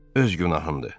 Öz günahındır.